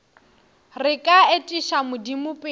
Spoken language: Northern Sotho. re ka etiša modimo pele